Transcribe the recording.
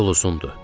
Yol uzundur.